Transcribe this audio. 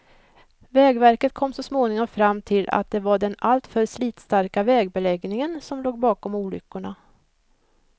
Vägverket kom så småningom fram till att det var den alltför slitstarka vägbeläggningen som låg bakom olyckorna.